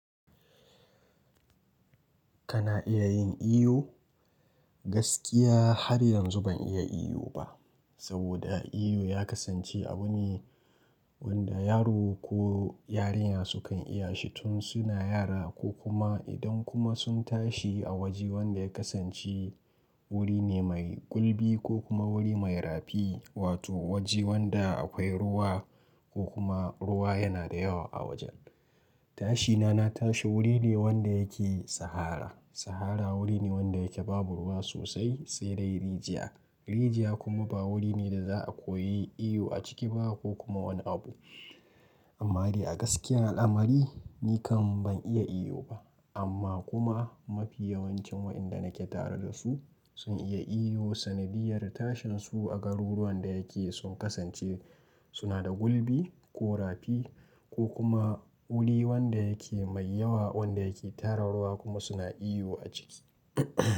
Kana iya yin iyo? Gaskiya har yanzu ban iya iyo ba. Saboda iyo ya kasance abu ne wanda yaro ko yarinya su kan iya shi tun suna yara ko kuma idan kuma sun tashi a waje wanda ya kasance wuri ne mai gulbi ko kuma wuri mai rafi. Wato waje wanda akwai ruwa ko kuma ruwa yana da yawa a wajen. Tashina na tashi wuri ne wanda yake sahara. Sahara wuri ne wanda yake babu ruwa sosai, sai dai rijiya. Rijiya kuma ba wuri ne da za'a koyi iyo a ciki ba ko kuma wani abu. Amma dai a gaskiya al'amari ni kam ban iya iyo ba. Amma kuma mafi yawancin wa'inda nake tare da su sun iya iyo. Sanadiyar tashin su a garuruwan da yake sun kasance suna da gulbi ko rafi ko kuma wuri wanda yake mai yawa wanda yake tara ruwa kuma suna iyo a ciki.